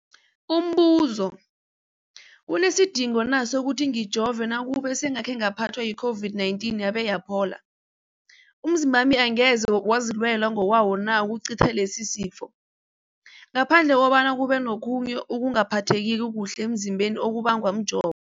Umbuzo, kunesidingo na sokuthi ngijove nakube sengakhe ngaphathwa yi-COVID-19 yabe yaphola? Umzimbami angeze wazilwela ngokwawo na ukucitha lesisifo, ngaphandle kobana kube nokhunye ukungaphatheki kuhle emzimbeni okubangwa mjovo?